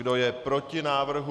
Kdo je proti návrhu?